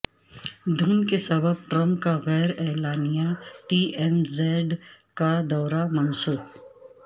دھند کے سبب ٹرمپ کا غیر اعلانیہ ڈی ایم زیڈ کا دورہ منسوخ